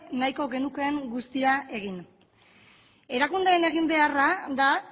nahiko genukeen guztia egin erakundeen egin beharra da